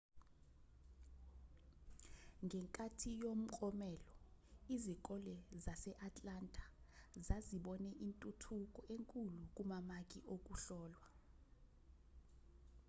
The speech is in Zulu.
ngenkathi yomklomelo izikole zase-atlanta zazibone intuthuko enkulu kumamaki okuhlolwa